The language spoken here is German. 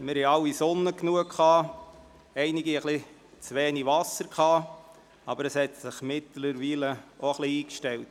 Wir hatten alle genug Sonne gehabt, einige hatten etwas zu wenig Wasser, aber inzwischen hat sich dies etwas eingependelt.